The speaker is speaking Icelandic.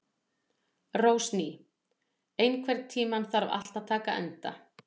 Rósný, einhvern tímann þarf allt að taka enda.